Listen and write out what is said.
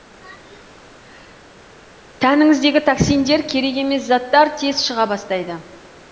тәніңіздегі токсиндер керек емес заттар тез шыға бастайды